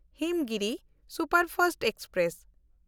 Himgiri superfast express